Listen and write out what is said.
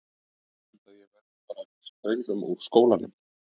Ég held að ég verði bara að vísa drengnum úr skólanum.